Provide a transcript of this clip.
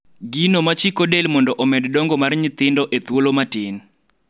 gido machiko del mondo omed dongo mar nyothindo e thuolo matin